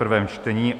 prvé čtení